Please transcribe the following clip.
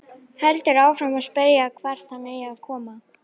Heldur áfram að spyrja hvert hann eigi að koma.